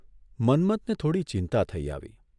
મન્મથને થોડી ચિંતા થઇ આવી.